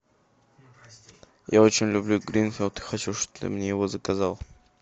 я очень люблю гринфилд хочу чтобы ты мне его заказала